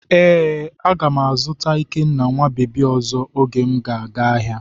Ee, a ga m azụta ikenna nwa bebi ọzọ oge m ga-aga ahịa.